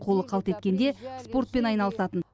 қолы қалт еткенде спортпен айналысатын